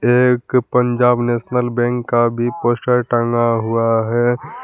एक Punjab National Bank का भी पोस्टर टंगा हुआ है।